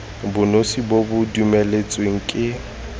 bonosi bo bo dumeletsweng ke